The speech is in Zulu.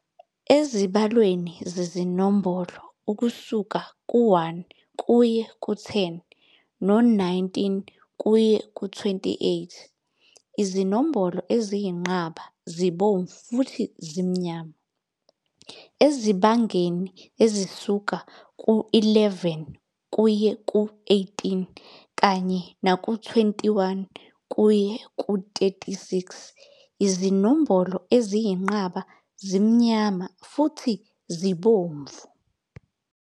Ezibalweni zezinombolo ukusuka ku-1 kuye ku-10 no-19 kuye ku-28, izinombolo eziyinqaba zibomvu futhi zimnyama. Ezibangeni ezisuka ku-11 kuye ku-18 kanye naku-29 kuye ku-36, izinombolo eziyinqaba zimnyama futhi zibomvu.